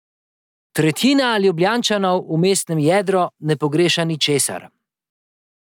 Tretjina Ljubljančanov v mestnem jedru ne pogreša ničesar.